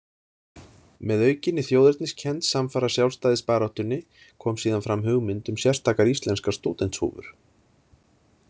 Með aukinni þjóðerniskennd samfara sjálfstæðisbaráttunni kom síðan fram hugmynd um sérstakar íslenskar stúdentshúfur.